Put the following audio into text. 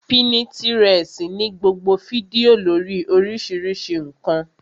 Pínítirẹsi ní gbogbo fídíò lórii oríṣiríṣi ǹkan